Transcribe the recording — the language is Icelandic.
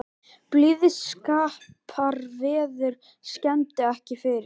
Blíðskaparveður skemmdi ekki fyrir